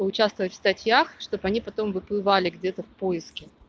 по участвовать в статьях чтобы они потом выплывали где-то в поиске